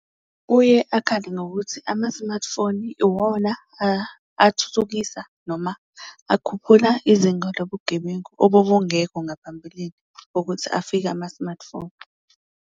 Kuye akhale ngokuthi ama-smartphone iwona athuthukisa noma akhuphula izinga lobugebengu obubungekho ngaphambilini, kokuthi afike ama-smartphone.